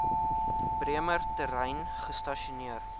bremer terrein gestasioneer